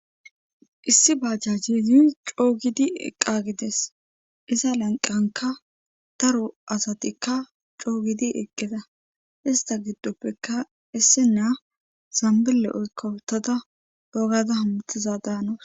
issi bajjajizi coogidi eqqa gides iza lanqanka daro asatikka coo gidi eqqeda ista giddoppeka issi naa zambile oykkawutada bogada hamutiza daanoos